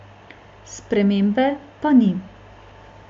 Spremembe pa ni.